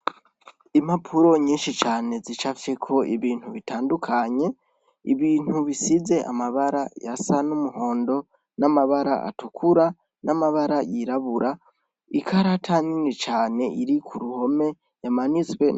Impapuro nyinshi cane zicafyeko ibintu bitandukanye ibintu bisize amabara asa n' umuhondo n' amabara atukura n' amabara yirabura ikarata nini cane iri ku ruhome imanitswe.